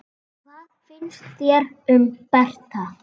Hvað finnst þér um Berta?